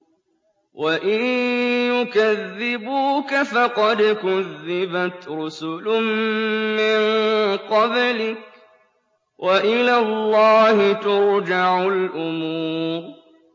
وَإِن يُكَذِّبُوكَ فَقَدْ كُذِّبَتْ رُسُلٌ مِّن قَبْلِكَ ۚ وَإِلَى اللَّهِ تُرْجَعُ الْأُمُورُ